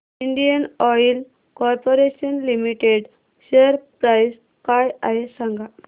Indian oil corporation limited share price काय आहे सांगा